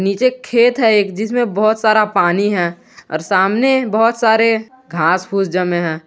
नीचे खेत है एक जिसमें बहोत सारा पानी है और सामने बहोत सारे घास फूस जमे है।